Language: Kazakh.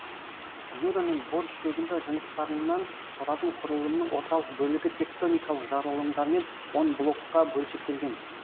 юра мен бор шөгінді жыныстарынан тұратын құрылымның орталық бөлігі тектоникалық жарылымдармен он блокқа бөлшектелген